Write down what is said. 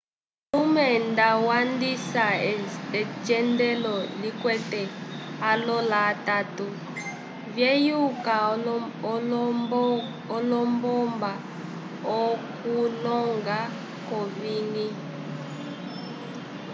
ulume nda wandisa ocendelo likwete alola atatu vyeyuka olombomba okuloñga k'owiñgi